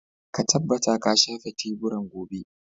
Ka tabbata ka shafe teburan gobe.